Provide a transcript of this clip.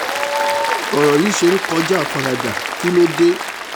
ọ̀rọ̀ yìí ṣe ń kọjá àfaradà kí ló dé